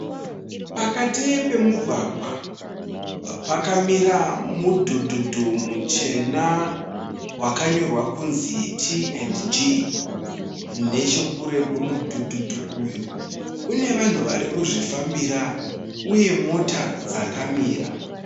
Pakati pemugwagwa pakamira mudhudhudhu muchena wakanyorwa kunzi T&G. Nechekure kwemudhudhudhu uyu kune vanhu varikuzvifambira uye mota dzakamira.